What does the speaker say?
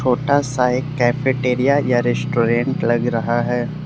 छोटा सा एक कैफेटेरिया या रेस्टोरेंट लग रहा है।